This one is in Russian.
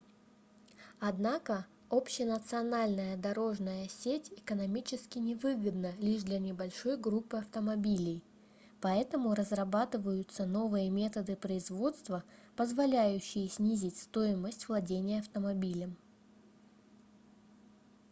однако общенациональная дорожная сеть экономически невыгодна лишь для небольшой группы автомобилей поэтому разрабатываются новые методы производства позволяющие снизить стоимость владения автомобилем